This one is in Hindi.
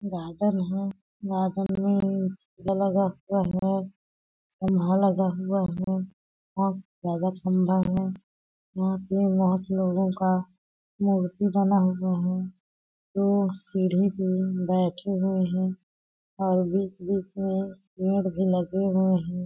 गार्डन है गार्डन में पौधा लगा हुआ है और ज्यादा ठंडा है। यहाँ पे आठ लोगों का मूर्ति बना हुआ है। वो सिरे पे बैठे हुए हैं और बीच-बीच में पेड़ भी लगे हुए हैं|